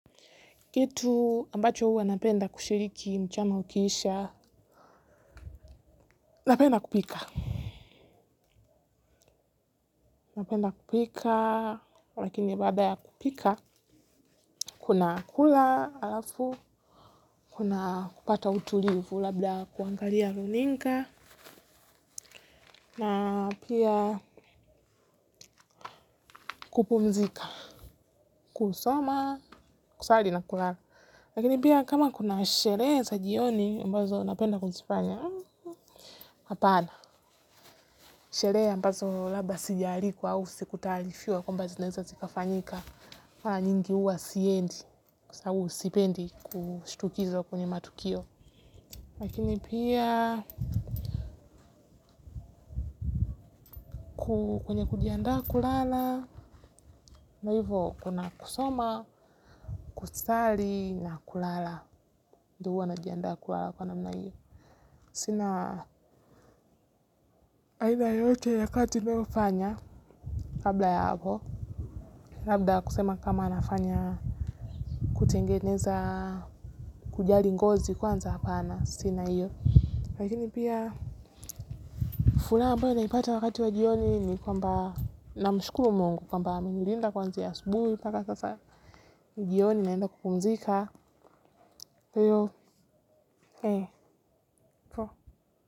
Kitu, ambacho huwa napenda kushiriki mchana ukiisha. Napenda kupika. Napenda kupika, lakini baada ya kupika. Kuna kula, alafu, kuna kupata utulivu, labda kuangalia runinga. Na pia kupumzika. Kusoma, kusali na kulala. Lakini pia kama kuna sherehe za jioni, mbazo napenda kuzifanya, hapana. Sherehe ambazo labda sijaalikwa au sikutaarifiwa kwamba zineza zika fanyika. Mara nyingi huwa siendi. Kwa sababu sipendi kushtukizwa kwenye matukio. Lakini pia. Kwenye kujiandaa kulala, na hivyo kuna kusoma, kusali na kulala. Ndio huwa najiandaa kulala kwa namna hivyo. Sina aina yoyote ya kati nayofanya, kabla ya hapo. Labda kusema kama nafanya, kutengeneza kujali ngozi kwanza hapana sina hiyo lakini pia furaha ambayo naipata wakati wa jioni ni kwamba na mshukuru Mungu kwamba amenilinda kwanzia asubuhi paka sasa. Jioni naenda kukumzika. Hiyo ee.